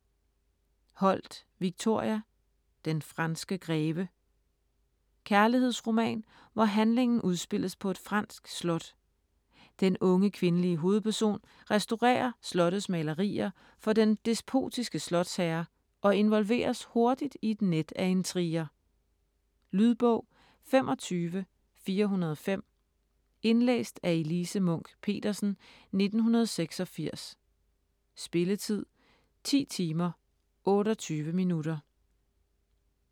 Holt, Victoria: Den franske greve Kærlighedsroman, hvor handlingen udspilles på et fransk slot. Den unge kvindelige hovedperson restaurerer slottets malerier for den despotiske slotsherre og involveres hurtigt i et net af intriger. Lydbog 25405 Indlæst af Elise Munch-Petersen, 1986. Spilletid: 10 timer, 28 minutter.